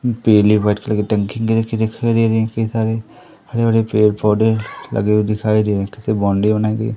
पीली white colour कि टंकी कई सारे हरे भरे पेड़ पौधे लगे हुए दिखाई दे कई सारे बाउंड्री बनाई गई--